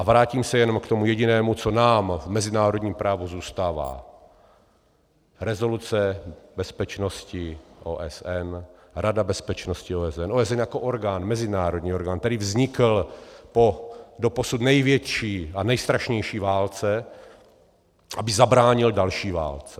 A vrátím se jenom k tomu jedinému, co nám v mezinárodním právu zůstává - rezoluce bezpečnosti OSN, Rada bezpečnosti OSN, OSN jako orgán, mezinárodní orgán, který vznikl po doposud největší a nejstrašnější válce, aby zabránil další válce.